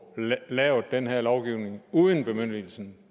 lavet den her lovgivning uden bemyndigelsen